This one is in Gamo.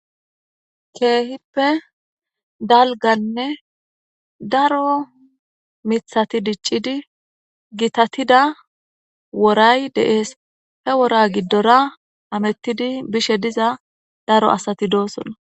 Keehippe dalganne daro mithati diccidi gitatida woray deees he wora giddora amettidi bishe diza daro asati doosola.